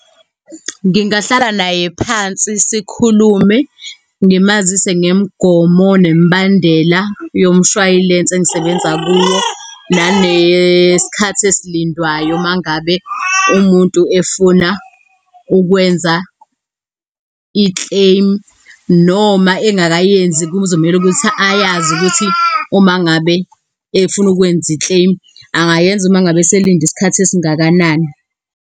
Ngingahlala naye phansi sikhulume, ngimazise ngemigomo nemibandela yomshway'lense engisebenza kuwo. Nanesikhathi esilindwayo mangabe umuntu efuna ukwenza i-claim noma engakayenzi. Kuzomele ukuthi ayazi ukuthi uma ngabe efuna ukwenza i-claim angayenza uma ngabe eselinde isikhathi esingakanani.